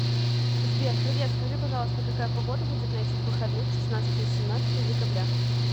сбер привет скажи пожалуйста какая погода будет на этих выходных шестнадцатое семнадцатое декабря